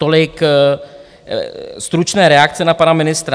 Tolik stručné reakce na pana ministra.